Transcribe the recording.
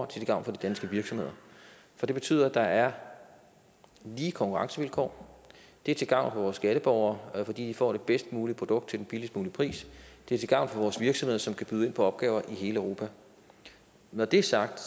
til gavn for de danske virksomheder for det betyder at der er lige konkurrencevilkår det er til gavn for vores skatteborgere fordi de får det bedst mulige produkt til den billigst mulige pris det er til gavn for vores virksomheder som kan byde ind på opgaver i hele europa når det er sagt